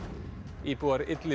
íbúar